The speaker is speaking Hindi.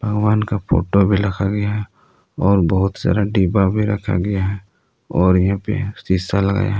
भगवान का फोटो भी रखा गया है और बहुत सारा डिब्बा भी रखा गया है और यहां पे शीशा लगाया है।